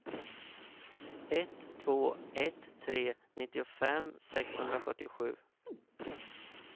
ett två ett tre nittiofem sexhundrafyrtiosju